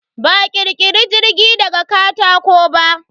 Ba a ƙirkiri jirgi daga katako ba.